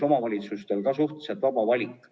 Omavalitsustel on ka siin suhteliselt vaba valik.